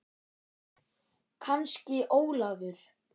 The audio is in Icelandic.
Kannski Ólafur.